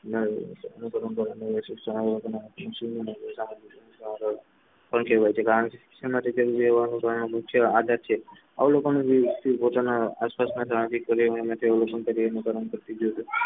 પણ કેવાય છે કારણ કે શિક્ષણ માટે જરૂરી હોવાનું આદત છે અવલોકન પોતાના આસપાસ ના